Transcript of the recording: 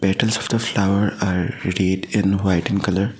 petals of the flower are red and white in colour.